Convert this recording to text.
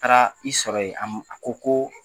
Taara i sɔrɔ yen a m a ko ko